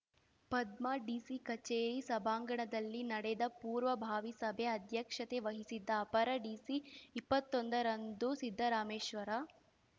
Padma DC ಕಚೇರಿ ಸಭಾಂಗಣದಲ್ಲಿ ನಡೆದ ಪೂರ್ವಭಾವಿ ಸಭೆ ಅಧ್ಯಕ್ಷತೆ ವಹಿಸಿದ್ದ ಅಪರ ಡಿಸಿ ಇಪ್ಪತ್ತೊಂದರಂದು ಸಿದ್ದರಾಮೇಶ್ವರ